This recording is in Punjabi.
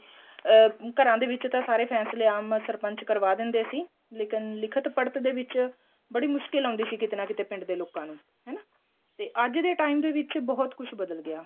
ਅਹ ਘਰਾਂ ਦੇ ਵਿੱਚ ਤਾਂ ਸਾਰੇ ਫ਼ੈਸਲੇ ਆਮ ਸਰਪੰਚ ਕਰਵਾ ਦਿੰਦੇ ਸੀ ਲੇਕਿਨ ਲਿੱਖਤ ਪੜਤ ਦੇ ਵਿੱਚ ਬੜੀ ਮੁਸ਼ਕਿਲ ਆਉਦੀ ਸੀ ਕਿਤੇ ਨਾ ਕਿਤੇ ਪਿੰਡ ਦੇ ਲੋਕਾਂ ਨੂੰ ਹਨਾਂ ਤੇ ਅੱਜ time ਵਿੱਚ ਬਹੁਤ ਕੁੱਛ ਬਦਲ ਗਿਆ